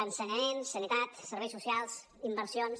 ensenyament sanitat serveis socials inversions